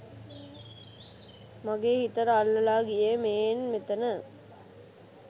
මගේ හිතට අල්ලලා ගියේ මේන් මෙතන